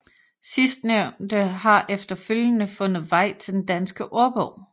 Sidstnævnte har efterfølgende fundet vej til Den Danske Ordbog